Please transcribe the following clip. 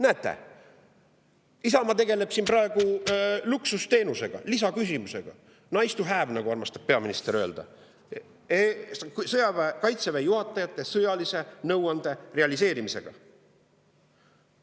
Näete, Isamaa tegeleb praegu luksusteenusega, lisaküsimusega, nice-to-have, nagu peaminister armastab öelda, Kaitseväe juhatajate sõjalise nõuande realiseerimisega.